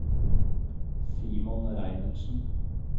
Simon Reinertsen